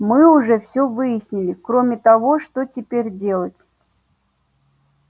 мы уже все выяснили кроме того что теперь делать